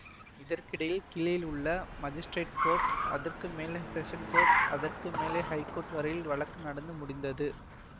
இதற்கிடையில் கீழேயுள்ள magistrate court அதற்குமேல் ஸெஷன்ஸ் கோர்ட்டு அதற்கு மேலே ஹைக்கோர்ட்டு வரையில் வழக்கு நடந்து முடிந்தது